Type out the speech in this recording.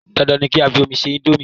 Dan Dan ni kí á fi omi ṣe íńdómì.